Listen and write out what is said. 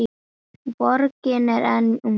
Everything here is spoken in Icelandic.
Borgin er enn mjög ung.